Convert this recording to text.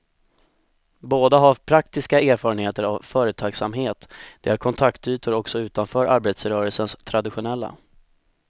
Båda har praktiska erfarenheter av företagsamhet, de har kontaktytor också utanför arbetarrörelsens traditionella.